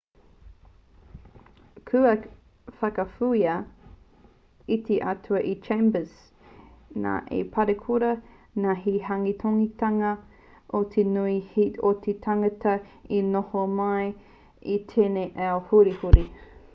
kua whakawhiua te atua e chambers nā te parekura nā te haukotinga o te nui o te tangata e noho mai nei i tēnei ao hurihuri